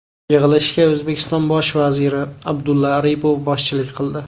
Yig‘ilishga O‘zbekiston bosh vaziri Abdulla Aripov boshchilik qildi.